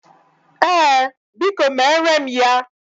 Ee, Biko mere m ya.